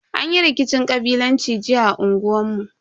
Anyi rikicin kabilanci jiya a unguwan mu.